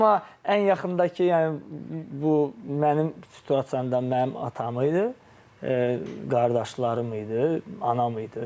Amma ən yaxındakı, yəni bu mənim situasiyamda mənim atam idi, qardaşlarım idi, anam idi.